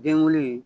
Den wolo